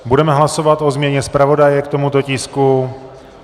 Budeme hlasovat o změně zpravodaje k tomuto tisku.